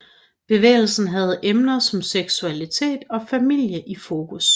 Bevægelsen havde emner som seksualitet og familie i fokus